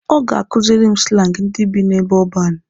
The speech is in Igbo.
Ọ ga-akuziri m slangi ndị bi n'ebe ọban.